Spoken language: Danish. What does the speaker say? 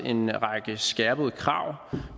en række skærpede krav